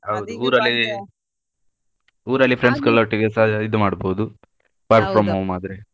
ಹೌದು ಊರಲ್ಲಿ ಊರಲ್ಲಿ friends ಗಳೊಟ್ಟಿಗೆ ಇದು ಮಾಡ್ಬೋದು work from home ಆದ್ರೆ.